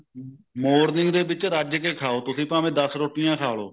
morning ਦੇ ਵਿੱਚ ਰੱਜ ਕੇ ਖਾਓ ਤੁਸੀਂ ਭਾਵੇ ਦਸ ਰੋਟੀਆਂ ਖਾ ਲਵੋ